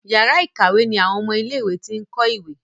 Yàrá ìkàwé ní àwọn ọmọ ilé ìwé t'in kọ ìwé.